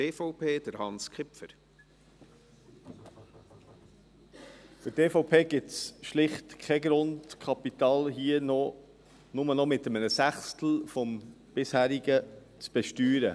Für die EVP gibt es schlicht keinen Grund, Kapital nur noch mit einem Sechstel des bisherigen zu besteuern.